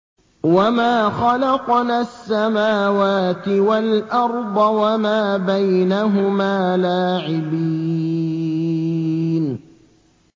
وَمَا خَلَقْنَا السَّمَاوَاتِ وَالْأَرْضَ وَمَا بَيْنَهُمَا لَاعِبِينَ